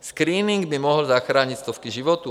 Screening by mohl zachránit stovky životů.